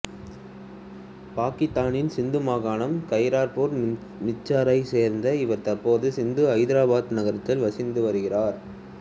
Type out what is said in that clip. பாக்கித்தானின் சிந்து மாகாணம் கைர்பூர் மிர்சைச் சேர்ந்த இவர் தற்போது சிந்துவின் ஐதராபாத்து நகரத்தில் வசித்து வருகிறார்